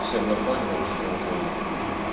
всех наркотиков в украине